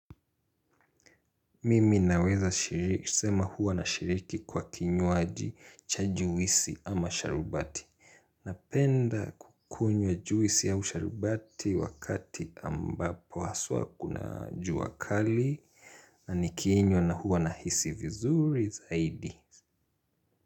Mimi naweza sema huwa nashiriki kwa kinywaji cha juisi ama sharubati. Napenda kukunywa juisi au sharubati wakati ambapo haswa kuna jua kali. Na nikiinywa na huwa nahisi vizuri zaidi.